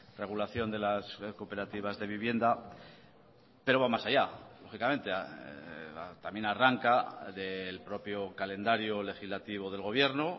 regulación de las cooperativas de vivienda pero va más allá lógicamente también arranca del propio calendario legislativo del gobierno